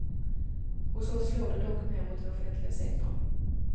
Hos oss slår det dock mer mot den offentliga sektorn.